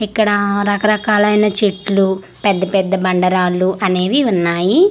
ఇక్కడ రకరకాలైన చెట్లు పెద్ద పెద్ద బండ రాళ్లు అనేవి ఉన్నాయి.